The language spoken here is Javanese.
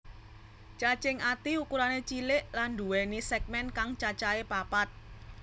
Cacing ati ukurané cilik lan nduwèni sègmèn kang cacahé papat